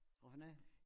Hvad for noget?